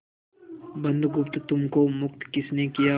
बुधगुप्त तुमको मुक्त किसने किया